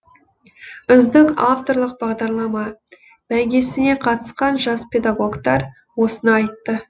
үздік авторлық бағдарлама бәйгесіне қатысқан жас педагогтар осыны айтты